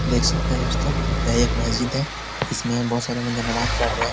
देख सकते हैं दोस्तों यह एक मस्जिद है। इसमें बहुत सारे बंदे नमाज पढ़ रहें हैं।